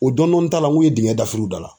O dɔɔni dɔɔni ta la ng'o ye digɛn dafiri u da la.